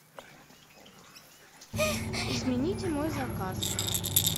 измените мой заказ